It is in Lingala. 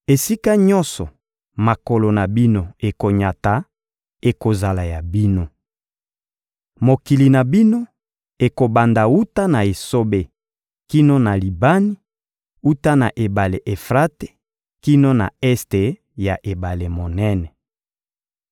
Esika nyonso makolo na bino ekonyata, ekozala ya bino. Mokili na bino ekobanda wuta na esobe kino na Libani, wuta na Ebale Efrate kino na este ya Ebale monene.